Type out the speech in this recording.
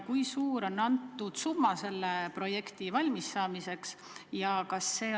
Kui suur on summa, mis selle projekti valmis saamiseks kulub?